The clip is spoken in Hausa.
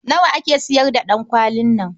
Nawa ake sayar da ɗankwalin nan?